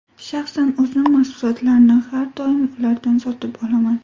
Shaxsan o‘zim mahsulotlarni har doim ulardan sotib olaman.